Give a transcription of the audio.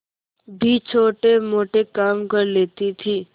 भी छोटेमोटे काम कर लेती थी